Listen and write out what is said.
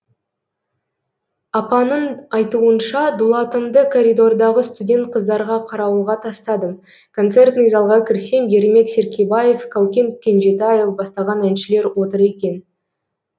апаның айтуынша дулатымды коридордағы студент қыздарға қарауылға тастадым концертный залға кірсем ермек серкебаев каукен кенжетаев бастаған әншілер отыр екен